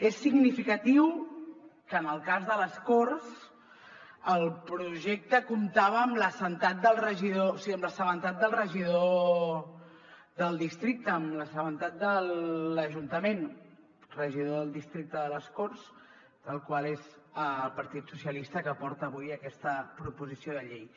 és significatiu que en el cas de les corts el projecte comptava amb l’assabentat del regidor del districte amb l’assabentat de l’ajuntament regidor del districte de les corts el qual és del partit socialistes que porta avui aquesta proposició de llei